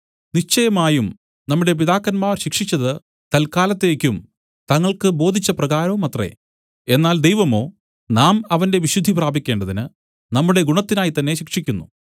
നിശ്ചയമായും നമ്മുടെ പിതാക്കന്മാർ ശിക്ഷിച്ചത് തൽക്കാലത്തേക്കും തങ്ങൾക്കു ബോധിച്ച പ്രകാരവുമത്രേ എന്നാൽ ദൈവമോ നാം അവന്റെ വിശുദ്ധി പ്രാപിക്കേണ്ടതിന് നമ്മുടെ ഗുണത്തിനായി തന്നേ ശിക്ഷിക്കുന്നു